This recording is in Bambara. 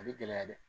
A bɛ gɛlɛya dɛ